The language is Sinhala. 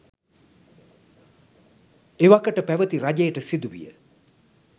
එවකට පැවැති රජයට සිදුවිය